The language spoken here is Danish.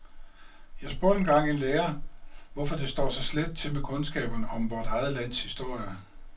Jeg spurgte en gang en lærer, hvorfor det står så slet til med kundskaberne om vort eget lands historie.